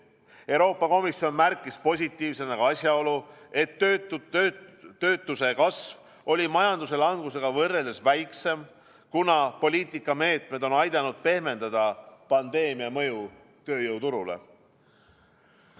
Euroopa Komisjon märkis positiivsena ka asjaolu, et töötuse kasv oli majanduse langusega võrreldes väiksem, kuna poliitikameetmed on aidanud pehmendada pandeemia mõju tööjõuturule.